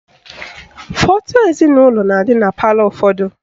Foto ezinaụlọ na-adị na palọ ụfọdụ